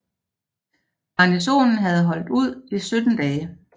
Garnisonen havde holdt ud i 17 dage